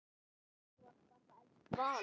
Það er bara elsku Vala.